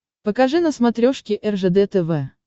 покажи на смотрешке ржд тв